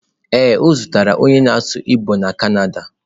Ee, o zutere onye na-asụ igbo na Canada